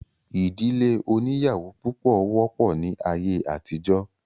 ìdílé oníyàwó púpọ̀ wọ́pọ̀ ní ayé àtijọ́